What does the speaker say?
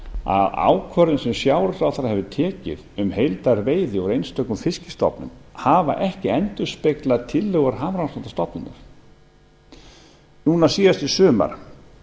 að ákvörðun sem sjávarútvegsráðherra hefur tekið um heildarveiði úr einstökum fiskstofnum hafa ekki endurspeglað tillögur hafrannsóknastofnunar núna síðast í sumar